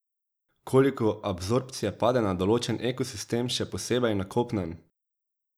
Koliko absorpcije pade na določen ekosistem, še posebej na kopnem?